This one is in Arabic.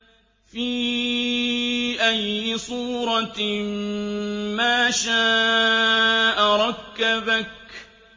فِي أَيِّ صُورَةٍ مَّا شَاءَ رَكَّبَكَ